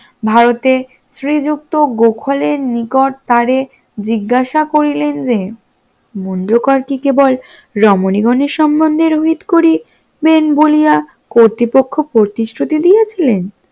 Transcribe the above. ভারতের শ্রীযুক্ত গোখলের নিকট তারে জিজ্ঞাসা করিলেন যে মুঞ্জকর কেবল রমণীগণের সম্বন্ধে রোহিত করিবেন বলিয়া কর্তৃপক্ষ প্রতিশ্রুতি দিয়েছিলেন